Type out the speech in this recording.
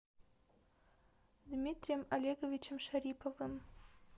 дмитрием олеговичем шариповым